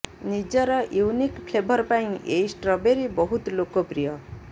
ନିଜର unique flavour ପାଇଁ ଏହି ଷ୍ଟ୍ରବେରି ବହୁତ ଲୋକପ୍ରିୟ